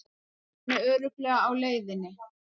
Hann er örugglega á leiðinni.